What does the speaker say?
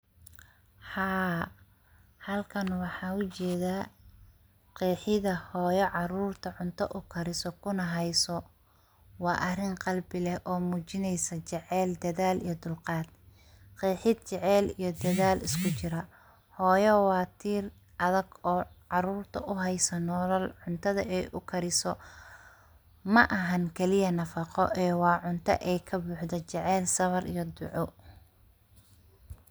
Halkan waxaan ujeeda qeexida hooyo carurta cunta ukariso kuna hayso waa arin qalbi leh oo muujinaysa jecel dedaal iyo dulqaad, qeexid jecel iyo dedal isku jira, hooyo waa tiir adhag oo carurta uhaysa nolol cuntada ay ukariso ma ahan kaliya nafaqo ee waa cunta ay ka buxdo jecel sabar iyo duco.